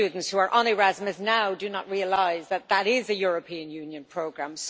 Many students who are on Erasmus now do not realise that it is a European Union programme.